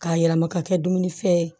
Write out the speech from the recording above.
K'a yɛlɛma ka kɛ dumunifɛn ye